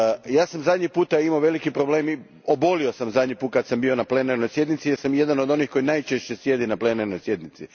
Ja sam zadnji put imao veliki problem i obolio sam zadnji put kad sam bio na plenarnoj sjednici jer sam jedan od onih koji najčešće sjede na plenarnoj sjednici.